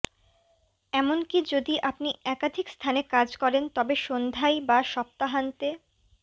এমনকি যদি আপনি একাধিক স্থানে কাজ করেন তবে সন্ধ্যায় বা সপ্তাহান্তে